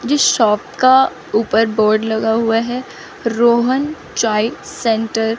जिस शॉप का ऊपर बोर्ड लगा हुआ है रोहन चाय सेंटर ।